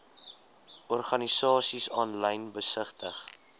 organisasies aanlyn besigtig